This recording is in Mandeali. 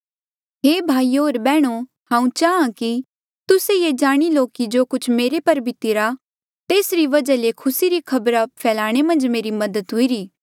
हे भाईयो होर बैहणो हांऊँ चाहां कि तुस्से ये जाणी लो कि जो कुछ मेरे पर बीतिरा तेसरी वजहा ले खुसी री खबरा फैलाणे मन्झ मेरी मदद हुईरी